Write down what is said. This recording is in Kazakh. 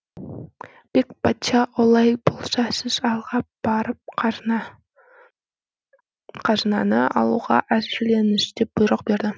бек бачча олай болса сіз алға барып қазынаны алуға әзірленіңіз деп бұйрық берді